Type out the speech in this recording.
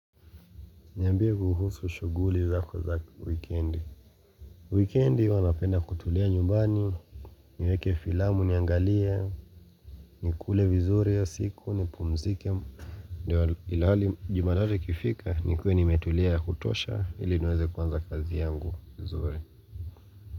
Niambie kuhusu shughuli zako za weekendi. Weekendi huwa napenda kutulia nyumbani. Niweke filamu niangalie. Ni kule vizuri hiyo siku nipumzike. Ndio nilale jumatatu ikifika nikuwe nimetulia ya kutosha ili niweze kuanza kazi yangu vizuri.